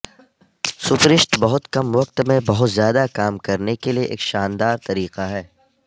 سپرسٹ بہت کم وقت میں بہت زیادہ کام کرنے کے لئے ایک شاندار طریقہ ہے